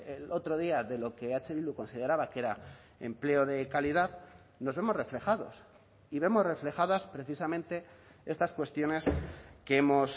el otro día de lo que eh bildu consideraba que era empleo de calidad nos vemos reflejados y vemos reflejadas precisamente estas cuestiones que hemos